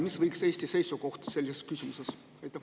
Mis võiks olla Eesti seisukoht selles küsimuses?